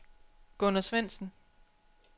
Gunner Svendsen